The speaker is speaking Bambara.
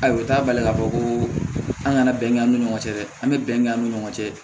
Ayi o t'a bali k'a fɔ ko an kana bɛn an ni ɲɔgɔn cɛ dɛ an bɛ bɛn an ni ɲɔgɔn cɛ